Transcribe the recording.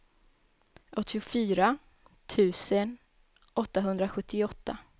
åttiofyra tusen åttahundrasjuttioåtta